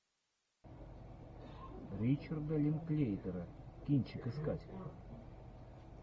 ричарда линклейтера кинчик искать